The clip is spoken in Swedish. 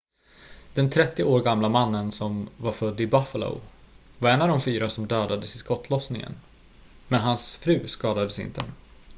den 30 år gamla mannen som var född i buffalo var en av de fyra som dödades i skottlossningen men hans fru skadades inte